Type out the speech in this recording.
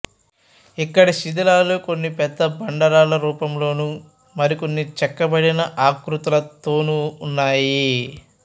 ఇక్కడి శిథిలాలు కొన్ని పెద్ద బండరాళ్ళ రూపంలోను మరికొన్ని చెక్కబడిన ఆకృతులతోను ఉన్నాయి